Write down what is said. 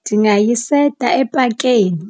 Ndingayiseta epakeni